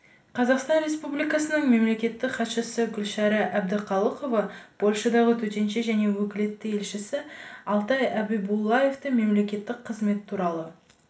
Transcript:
қазақстан республикасының мемлекеттік хатшысы гүлшара әбдіқалықова польшадағы төтенше және өкілетті елшісі алтай әбибуллаевты мемлекеттік қызмет туралы